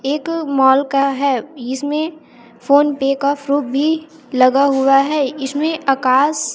एक मॉल का है इसमें फोनपे का प्रूफ भी लगा हुआ है इसमें आकाश--